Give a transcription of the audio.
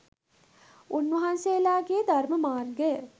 උන්වහන්සේලාගේ ධර්ම මාර්ගය